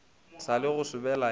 sa le go sobela ya